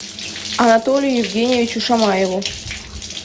анатолию евгеньевичу шамаеву